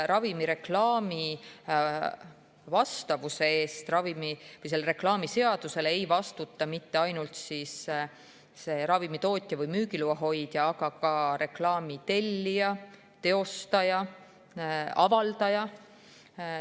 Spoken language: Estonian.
Ravimireklaami vastavuse eest ravimiseadusele ei vastuta nüüd mitte ainult ravimitootja või müügiloa hoidja, vaid ka reklaami tellija, teostaja ja avaldaja.